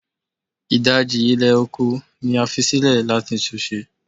Idaji ilẹ oko ni a fi silẹ lati tun ṣe